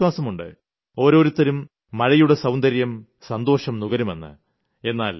എനിയ്ക്ക് വിശ്വാസമുണ്ട് ഓരോരുത്തരും മഴയുടെ സൌന്ദര്യം സന്തോഷം നുകരുമെന്ന്